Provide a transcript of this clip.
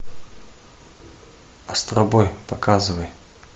астробой показывай